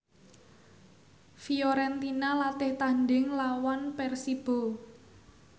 Fiorentina latih tandhing nglawan Persibo